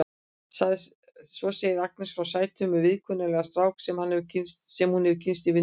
Svo segir Agnes frá sætum og viðkunnanlegum strák sem hún hefur kynnst í vinnunni.